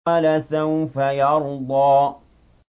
وَلَسَوْفَ يَرْضَىٰ